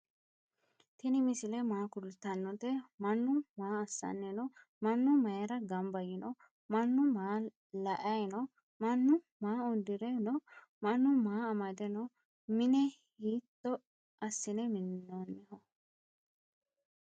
tini misile maa kultanote? manu maa asanni no?maanu mayira ganba yino? mannu maa la'ayi no?maanu maa uudire no?maanu maa amade no?minne hitto asinne minonniho?